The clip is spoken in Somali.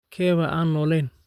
Keebaa aan noolayn?